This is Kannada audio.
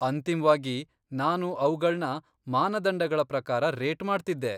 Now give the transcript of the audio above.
ಅಂತಿಮ್ವಾಗಿ, ನಾನು ಅವ್ಗಳ್ನ ಮಾನದಂಡಗಳ ಪ್ರಕಾರ ರೇಟ್ ಮಾಡ್ತಿದ್ದೆ.